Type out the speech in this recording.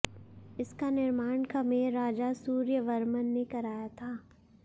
इसका निर्माण खमेर राजा सूर्यवर्मन ने कराया था